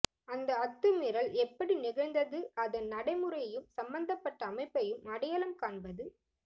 அந்த அத்துமீறல் எப்படி நிகழ்ந்தது அதன் நடமுறையையும் சம்பந்தப்பட்ட அமைப்பையும் அடையாளம் காண்பது